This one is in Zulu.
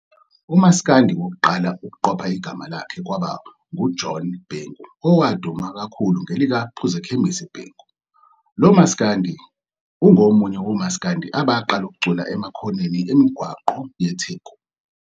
UMaskandi wokuqala ukuqopha igama lakhe kwabe kungu John Bhengu owaduma kakhulu ngelikaPhuzushukela Bhengu, lomaskandi ungomunye womaskadi abaqala ukucula emakhoneni emigwaqo yeTheku.